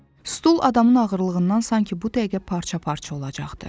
Stul adamın ağırlığından sanki bu dəqiqə parça-parça olacaqdı.